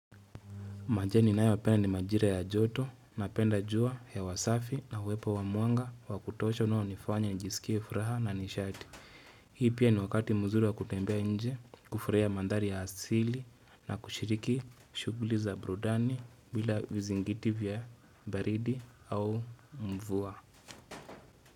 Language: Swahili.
Majira ninayopenda ni majira ya joto na penda jua hewa safi na uwepo wa mwanga wakutosha unaonifanya nijisikie furaha na nishati. Hii pia ni wakati mzuri wa kutembea nje kufurahia maandari ya asili na kushiriki shuguli za burudani bila vizingiti vya baridi au mvua.